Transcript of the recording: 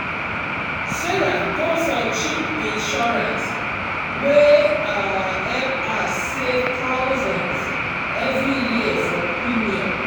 sarah go for cheap insurance wey um help her save thousands every year for premium.